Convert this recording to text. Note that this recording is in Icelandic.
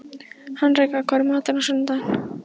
Henrika, hvað er í matinn á sunnudaginn?